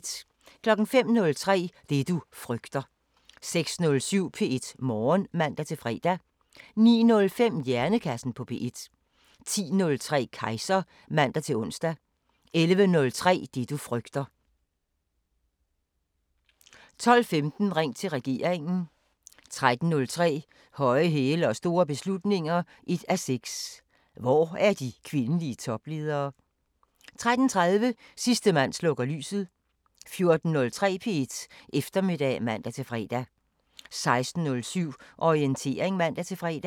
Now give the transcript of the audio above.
05:03: Det du frygter 06:07: P1 Morgen (man-fre) 09:05: Hjernekassen på P1 10:03: Kejser (man-ons) 11:03: Det du frygter 12:15: Ring til regeringen 13:03: Høje hæle og store beslutninger 1:6 – Hvor er de kvindelige topledere? 13:30: Sidste mand slukker lyset 14:03: P1 Eftermiddag (man-fre) 16:07: Orientering (man-fre)